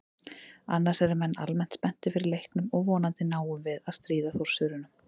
Annars eru menn almennt spenntir fyrir leiknum og vonandi náum við að stríða Þórsurunum.